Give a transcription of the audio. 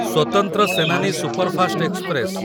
ସ୍ୱତନ୍ତ୍ର Senani superfast express